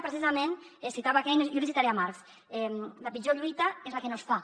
precisament citava keynes jo li citaré marx la pitjor lluita és la que no es fa